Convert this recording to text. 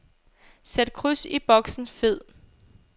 Sæt kryds i boksen fed.